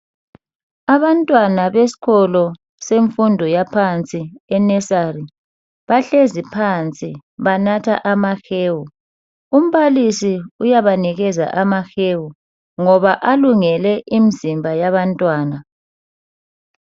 Abantwana besikolo semfundo yaphansi e nursery bahlezi phansi banatha amahewu. Umbalisi uyabanikeza amahewu ngoba alungele imzimba yabantwana.